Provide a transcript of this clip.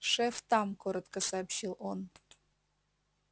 шеф там коротко сообщил он